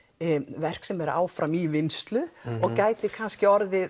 verk sem er áfram í vinnslu og gæti kannski orðið